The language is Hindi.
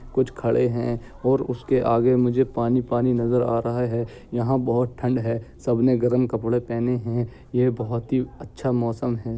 कुछ खड़े है और उसके आगे मुझे पानी-पानी नजर आ रहा है| यहाँ बहोत ठंड है| सब ने गर्म कपड़े पहने हैं| ये बहोत ही अच्छा मौसम हैं।